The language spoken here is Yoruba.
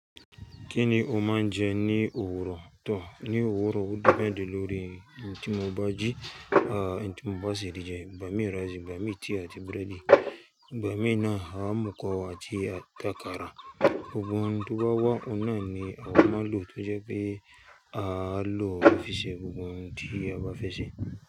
Kí ni o máa ń jẹ ní òwúrọ̀? Tò, ní òwúrọ̀ ó depend lórí ohun tí mo bá jí, ohun tí mo bá ṣèlérí jẹ. Ìbà mí ìrẹsì, ìbà mí tíì àti búrẹ́dì. Ìbà mí náà, àwọn amọ̀kọ̀wá àti àtàkárà. Gbogbo ohun tí bá wá, òun náà ni a máa lò tó jẹ́ pé a máa lò ó fi ṣe gbogbo ohun tí a bá fẹ́ ṣe.